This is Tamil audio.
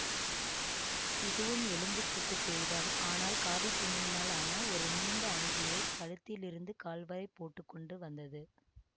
இதுவும் எலும்பு கூட்டு பேய்தான் ஆனால் காவித்துணியினால் ஆன ஒரு நீண்ட அங்கியைக் கழுத்திலிருந்து கால் வரை போட்டு கொண்டு வந்தது